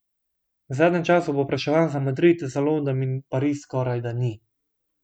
V zadnjem času povpraševanj za Madrid, za London in Pariz skorajda ni.